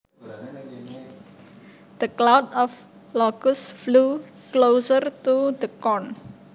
The cloud of locusts flew closer to the corn